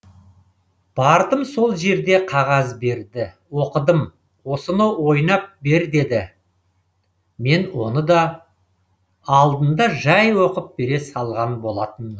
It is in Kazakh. бардым сол жерде қағаз берді оқыдым осыны ойнап бер деді мен оны алдында жәй оқып бере салған болатынмын